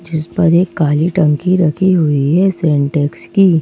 इस पर एक काली टंकी रखी हुई है सेंटेक्स की--